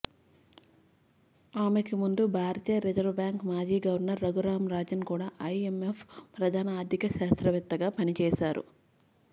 ఆమెకి ముందు భారతీయ రిజర్వ్ బ్యాంక్ మాజీ గవర్నర్ రఘురామ్ రాజన్ కూడా ఐఎంఎఫ్ ప్రధాన ఆర్థిక శాస్త్రవేత్తగా పనిచేశారు